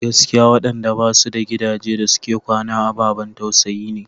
Gaskiya waɗanda ba su da gidaje da suke kwana ababan tausayi ne.